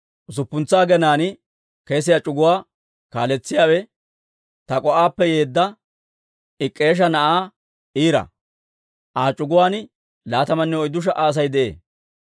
Usuppuntsa aginaan kesiyaa c'uguwaa kaaletsiyaawe Tak'o"appe yeedda Ik'k'eesha na'aa Ira; Aa c'uguwaan laatamanne oyddu sha"a Asay de'ee.